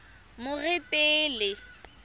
moretele